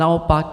Naopak.